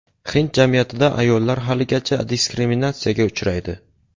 Hind jamiyatida ayollar haligacha diskriminatsiyaga uchraydi.